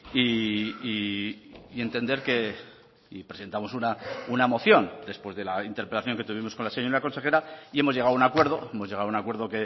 y entender que y presentamos una moción después de la interpelación que tuvimos con la señora consejera y hemos llegado a un acuerdo hemos llegado a un acuerdo